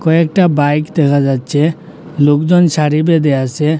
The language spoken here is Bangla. কয়েকটা একটা বাইক দেখা যাচ্ছে লোকজন সাড়ি বেঁধে আছে।